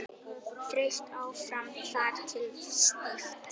Þeytt áfram þar til stíft.